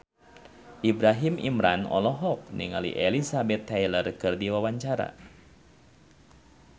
Ibrahim Imran olohok ningali Elizabeth Taylor keur diwawancara